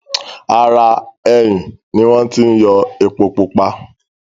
ara “ẹyìn” ni wọ́n ti yọ “epo-pupa”.